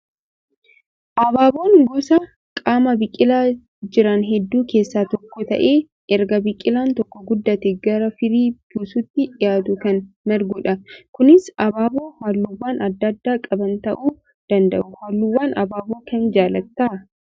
Abaaboon gosa qaama biqilaa jiran hedduu keessaa tokko ta'ee erga biqilaan tokko guddatee gara firii buusuutti dhiyaatu kan margudha. Kunis abaaboo halluuwwan adda addaa qaban ta'uu danda'u. Halluuwwan abaaboo kamii jaallattaa?